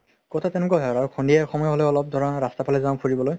কথা তেনেকুৱা হয় আৰু সন্ধিয়া হলে ধৰা অলপ ৰাস্তাৰ ফালে যাও ফুৰিবলৈ